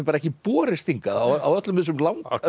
ekki borist hingað á öllum þessum